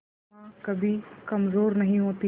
एक मां कभी कमजोर नहीं होती